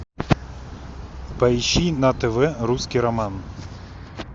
поищи на тв русский роман